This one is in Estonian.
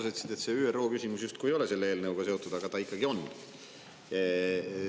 Sa ütlesid, et see ÜRO küsimus justkui ei ole selle eelnõuga seotud, aga ta ikkagi on.